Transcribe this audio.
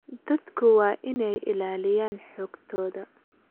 Dadku waa inay ilaaliyaan xogtooda.